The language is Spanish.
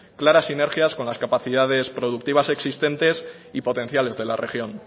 claras sinergias con las capacidades productivas existentes y potenciales de la región